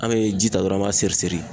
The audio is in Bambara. An be ji ta dɔrɔn an b'a siri siri